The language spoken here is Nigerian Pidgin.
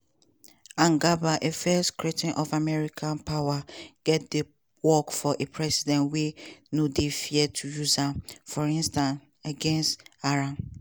and gabbard a fierce critic of american power go dey work for a president wey no dey afraid to use am– for instance against iran.